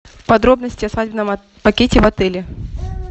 подробности о свадебном пакете в отеле